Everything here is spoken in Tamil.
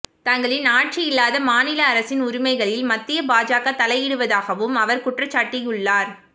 தங்களின் ஆட்சி இல்லாத மாநில அரசின் உரிமைகளில் மத்திய பாஜக தலையிடுவதாகவும் அவர் குற்றஞ்சாட்டியுள்ளார்